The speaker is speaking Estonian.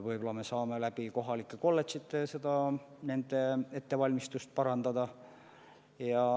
Võib-olla me saame kohalike kolledžite abil nende inimeste ettevalmistust parandada.